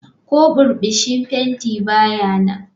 Ko burbushi fenti ba ya nan.